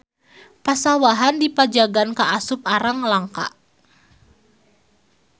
Pasawahan di Pajagan kaasup arang langka.